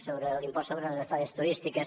sobre l’impost sobre les estades turístiques